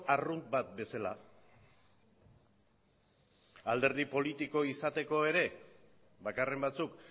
arrunt bat bezala alderdi politiko izateko ere bakarren batzuk